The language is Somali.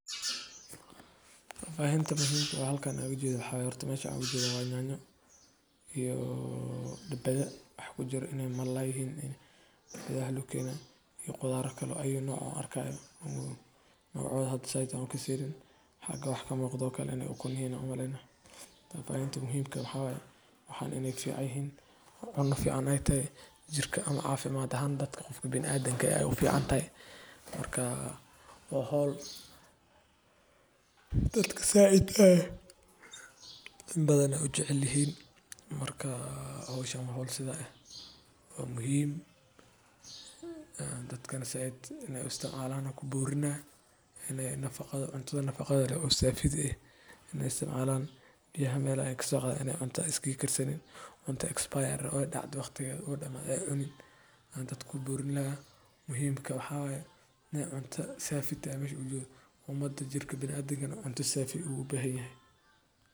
Waxaa intuu muhiimka waxaan u jeedaa haweenka waxa ay u isticmaalaan qodobka, cidda ahaateena iyo dhabbada. Waxa ku jira inay mar la yahiin in sida luu kiina iyo khudaar kaloo ay nooc arkaaga ugu noocooda. Had saydii aanu ka sirin xagga wax ka muuqdo kale oo kun yahay nacwoomale. Tafaaynta muhiimka waxa way waxaan inay fiicayin u fiican ayta jirka ama caafimaad ahan dadka kufi bin adagaya u fiican tay markaa mahoob dadka saacayd ah inbadana u jeclihin. Markaa howsha mahool sida ah oo muhiim dadka saacadda inay isticmaalaan ku buurinayn inay nafaqado cunto nafaqo leh oo safid ah inay isticmaalaan biyo hameelay ay ka soo qabto inay cunto iskiikar saliun cunto expire oo dhacdu waqtiga oo dhammeeyay unad. An dad ku burin laah muhiimka waxa way inay cunto safi daymaysh u jeed. U madad jirka bilaadan gana cunto safi u bahanyahay.